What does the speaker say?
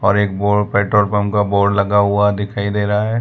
और एक board petrol pump का बोर्ड लगा हुआ दिखाई दे रहा है।